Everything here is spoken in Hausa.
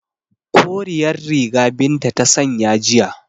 Koriyar riga Binta ta sanya jiya